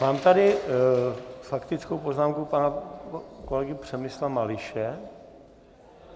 Mám tady - faktická poznámka pana kolegy Přemysla Mališe.